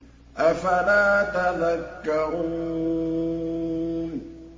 أَفَلَا تَذَكَّرُونَ